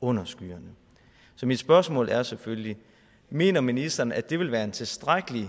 under skyerne så mit spørgsmål er selvfølgelig mener ministeren at det vil være en tilstrækkelig